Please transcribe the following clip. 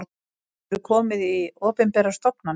Hefurðu komið í opinberar stofnanir?